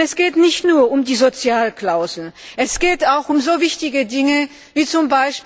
Es geht nicht nur um die Sozialklausel, sondern auch um so wichtige Dinge, wie z.